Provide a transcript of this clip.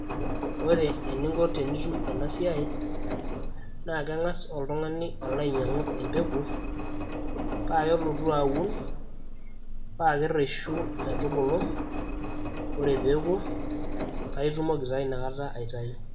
ore eninko tenitum ena siai naa keng'as oltung'ani alo ainyiang'u empeku paa kelotu aun paa kerreshu metubulu ore peeku paa itumoki taa inakata aitayu.